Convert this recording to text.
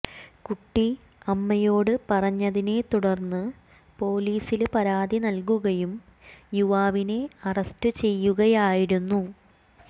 കുട്ടി അമ്മയോട് പറഞ്ഞതിനെ തുടര്ന്ന് പൊലീസില് പരാതി നല്കുകയും യുവാവിനെ അറസ്റ്റ് ചെയ്യുകയായിരുന്നു